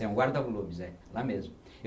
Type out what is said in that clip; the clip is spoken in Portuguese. É um guarda-volumes, é, lá mesmo.